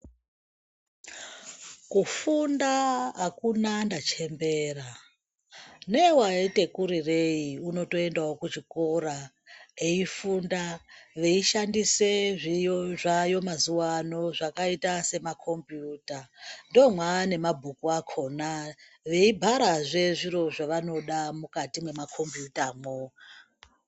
Kufunda akuna ndachembera. Newaite kurirei uno toendawo kuchikora eifunda, veishandise zvidziyo zvaayo mazuwa anaa zvakaita sema khombiyuta. Ndoo mwaane mabhuku akhona, veibharazve zviro zvevanoda mukati mema khombiyuta mwo.